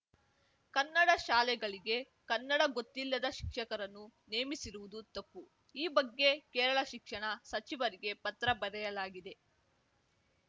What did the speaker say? ಕನ್ನಡ ಶಾಲೆಗಳಿಗೆ ಕನ್ನಡ ಗೊತ್ತಿಲ್ಲದ ಶಿಕ್ಷಕರನ್ನು ನೇಮಿಸಿರುವುದು ತಪ್ಪು ಈ ಬಗ್ಗೆ ಕೇರಳ ಶಿಕ್ಷಣ ಸಚಿವರಿಗೆ ಪತ್ರ ಬರೆಯಲಾಗಿದೆ